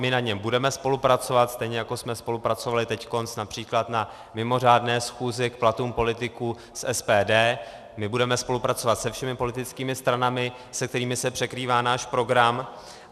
My na něm budeme spolupracovat, stejně jako jsme spolupracovali teď například na mimořádné schůzi k platům politiků s SPD, my budeme spolupracovat se všemi politickými stranami, se kterými se překrývá náš program.